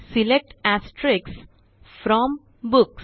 select from books